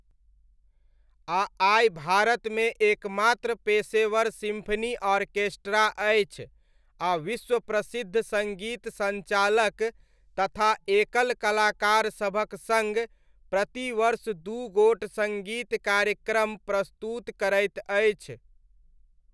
आ आइ भारतमे एकमात्र पेशेवर सिम्फनी ऑर्केस्ट्रा अछि आ विश्व प्रसिद्ध सङ्गीत सञ्चालक तथा एकल कलाकार सभक सङ्ग प्रति वर्ष दू गोट सङ्गीत कार्यक्रम प्रस्तुत करैत अछि।